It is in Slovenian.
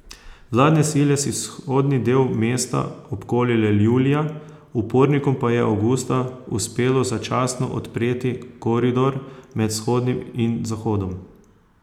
Vladne sile si vzhodni del mesta obkolile julija, upornikom pa je avgusta uspelo začasno odpreti koridor med vzhodom in zahodom.